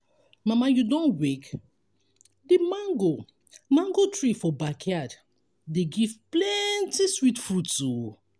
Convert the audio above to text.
mama you don wake? the mango mango tree for backyard dey give plenty sweet fruits um o.